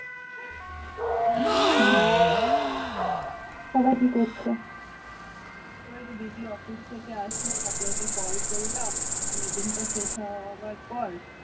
ওই যে দিদি office থেকে আসলো তারপর ওকে call করলাম meeting শেষ হওয়ার পর